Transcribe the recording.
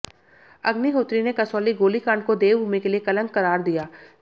अग्निहोत्री ने कसौली गोलीकांड को देवभूमि के लिए कलंक करार दिया